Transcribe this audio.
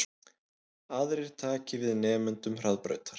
Aðrir taki við nemendum Hraðbrautar